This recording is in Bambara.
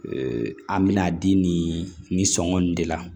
an bɛna di nin sɔngɔn in de la